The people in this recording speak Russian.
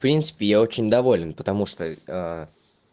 в принципе я очень доволен потому что